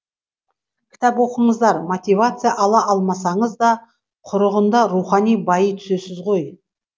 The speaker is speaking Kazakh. кітап оқыңыздар мотивация ала алмасаңыз да құрығанда рухани байи түсесіз ғой